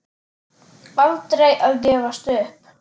Aldrei að gefast upp.